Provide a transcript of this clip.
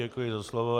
Děkuji za slovo.